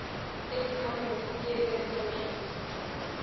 ex communist psm socialist